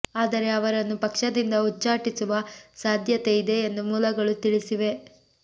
ಆದರೆ ಅವರನ್ನು ಪಕ್ಷದಿಂದ ಉಚ್ಛಾಟಿಸುವ ಸಾಧ್ಯತೆ ಇದೆ ಎಂದು ಮೂಲಗಳು ತಿಳಿಸಿವೆ